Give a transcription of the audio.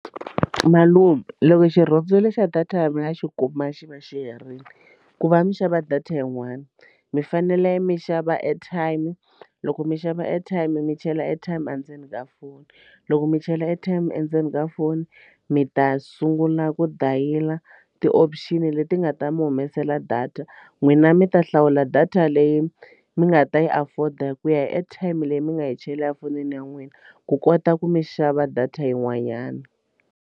Malume loko xirhundzu lexa data mi nga xi kuma xi va xi herile ku va mi xava data yin'wani mi fanele mi xava airtime loko mi xava airtime mi chela airtime endzeni ka foni loko mi chela airtime endzeni ka foni mi ta sungula ku dayila ti-option leti nga ta mi humesela data n'wina mi ta hlawula data leyi mi nga ta yi afford a ku ya hi airtime leyi mi nga yi chela a fonini ya n'wina ku kota ku mi xava data yin'wanyana.